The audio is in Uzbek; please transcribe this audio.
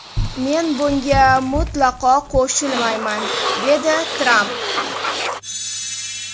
Men bunga mutlaqo qo‘shilmayman”, dedi Tramp.